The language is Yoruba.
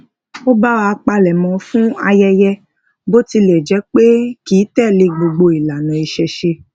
ó ba wa palemo fún ayẹyẹ bó tile je pé kìí telé gbogbo ilana iṣẹṣe